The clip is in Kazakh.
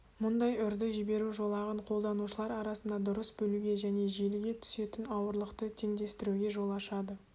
мұндай үрді жіберу жолағын қолданушылар арасында дұрыс бөлуге және желіге түсетін ауырлықты теңдестіруге жол ашады